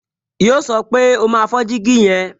Yíò sọ pé, "O máa fọ́ jígí yẹn"